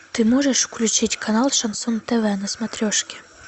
ты можешь включить канал шансон тв на смотрешке